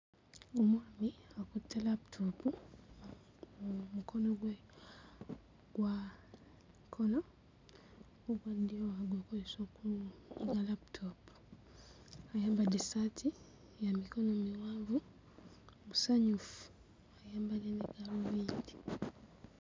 Omwami akutte laputoopu mu mukono gwe ogwa kkono, ogwa ddyo agukozesa okunyiga laputoopu, ayambadde essaati ya mikono miwanvu, musanyufu ayambadde ne gaalubindi.